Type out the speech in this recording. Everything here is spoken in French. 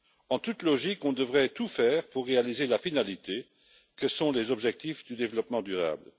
En toute logique, on devrait tout faire pour réaliser la finalité que sont les objectifs du développement durable.